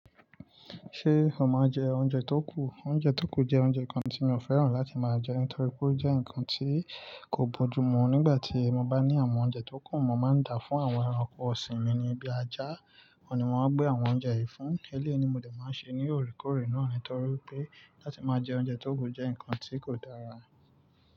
Ṣé o maa n oúnjẹ tó kù? Oúnjẹ tó kù jẹ́ oúnjẹ kan tí mi ò fẹ́ràn láti máa jẹ nítorí pé ó jẹ́ ǹkan tí kò bójú mu. Nígbà tí mo bá ní àwọn oúnjẹ tó kù, mo máa ń dà fún àwọn ẹranko ọ̀sìn mi ní bí ajá, awọ́n ni màá gbé àwọn oúnjẹ yìí fún. Eléyi ni ni mo dè máa ṣe ní òrekoorè náà nítorí pé láti máa jẹ oúnjẹ tó kù jẹ́ ǹkan tí kò dára.